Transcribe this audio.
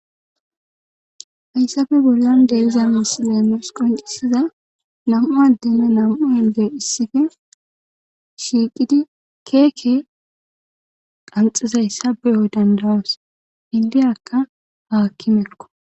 Hayssafe bollon deyiza masileenes qoncisiza nam7u addeme nam7u hendey issife shiiqidi keeke qanxizay sabeyo dandayas hindiyakka haakki mekk.